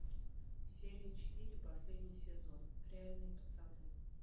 серия четыре последний сезон реальные пацаны